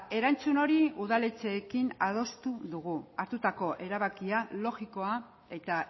erantzun hori udaletxeekin adostu dugu hartutako erabakia logikoa eta